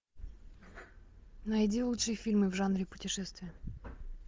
найди лучшие фильмы в жанре путешествие